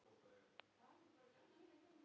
En það gerði hann.